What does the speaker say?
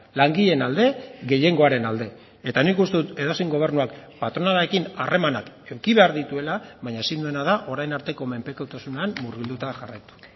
langileen alde gehiengoaren alde eta nik uste dut edozein gobernuak patronalarekin harremanak eduki behar dituela baina ezin duena da orain arteko menpekotasunean murgilduta jarraitu